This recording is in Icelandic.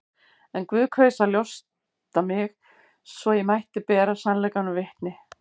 En Guð kaus að ljósta mig, svo ég mætti bera sannleikanum vitni.